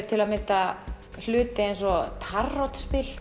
til að mynda hluti eins og